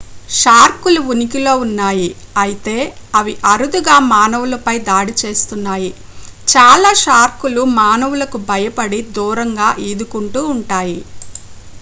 shark లు ఉనికిలో ఉన్నాయి అయితే అవి అరుదుగా మానవులపై దాడి చేస్తున్నాయి చాలా షార్క్ లు మానవులకు భయపడి దూరంగా ఈదుకుంటూ ఉంటాయి